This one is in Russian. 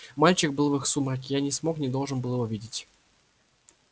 мальчик был в их сумраке я не смог не должен был его видеть